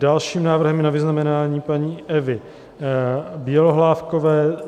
Dalším návrhem je na vyznamenání paní Evy Bělohlávkové